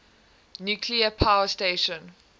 nuclear power station